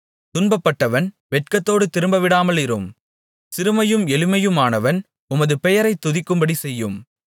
துன்பப்பட்டவன் வெட்கத்தோடு திரும்பவிடாமலிரும் சிறுமையும் எளிமையுமானவன் உமது பெயரைத் துதிக்கும்படி செய்யும்